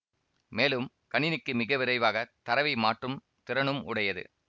மேலும் கணினிக்கு மிக விரைவாக தரவை மாற்றும் திறனும் உடையது